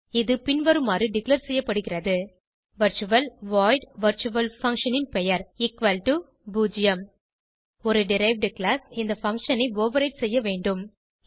இது பின்வருமாறு டிக்ளேர் செய்யப்படுகிறது வர்ச்சுவல் வாய்ட் வர்ச்சுவல்ஃபன்ஷன் ன் பெயர்0 ஒரு டெரைவ்ட் கிளாஸ் இந்த பங்ஷன் ஐ ஓவர்ரைடு செய்ய வெண்டும்